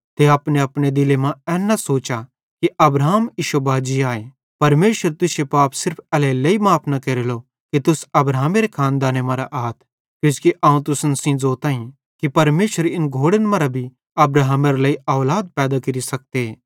ते अपनेअपने दिले मां एन न सोचा कि अब्राहम इश्शो बाजी आए परमेशर तुश्शे पाप सिर्फ एल्हेरेलेइ माफ़ न केरेलो कि तुस अब्राहमेरी औलाद आथ किजोकि अवं तुसन सेइं ज़ोताईं कि परमेशर इन घोड़न मरां भी अब्राहमेरे लेइ औलाद पैदा केरि सकते